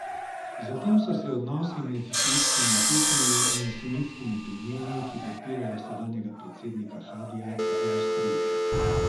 Zatem so se odnosi med šiitskimi Hutiji in sunitskimi plemeni, ki podpirajo sedanjega predsednika Hadija, zaostrili.